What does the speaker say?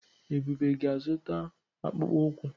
Ebube ga-azụta akpụkpọ ụkwụ.